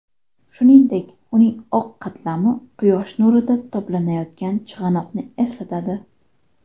Shuningdek, uning oq qatlami quyosh nurida toblanayotgan chig‘anoqni eslatadi.